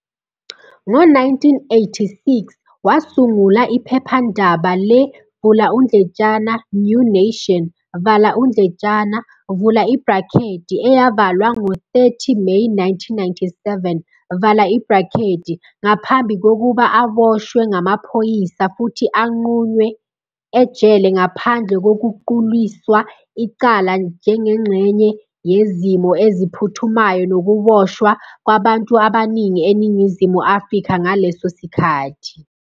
Ngo-1986, wasungula iphephandaba le-"New Nation", eyavalwa ngo-30 Meyi 1997, ngaphambi kokuba aboshwe ngamaphoyisa futhi agqunywe ejele ngaphandle kokuquliswa icala njengengxenye yezimo eziphuthumayo nokuboshwa kwabantu abaningi eNingizimu Afrika ngaleso sikhathi.